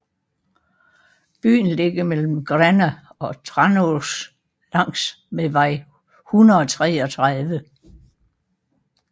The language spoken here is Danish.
Byen ligger mellem Gränna og Tranås langs med vej 133